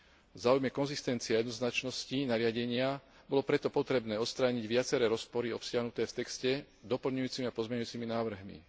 V záujme konzistencie a jednoznačnosti nariadenia bolo preto potrebné odstrániť viaceré rozpory obsiahnuté v texte doplňujúcimi a pozmeňujúcimi návrhmi.